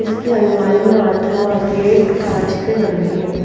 इसकी अलमारियां अथवा गेट कांच से बने हैं।